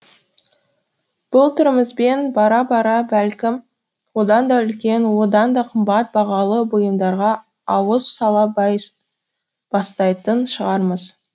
бұл түрімізбен бара бара бәлкім одан да үлкен оданда қымбат бағалы бұйымдарға ауыз сала бастайтын шығармыз